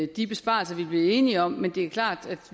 de besparelser vi blev enige om men det er klart at